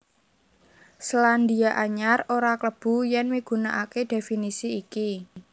Selandia Anyar ora klebu yèn migunakaké dhéfinisi iki